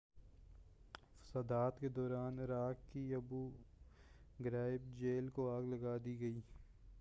فسادات کے دوران عراق کی ابو غرائب جیل کو آگ لگا دی گئی